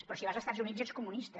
però si vas a estats units ets comunista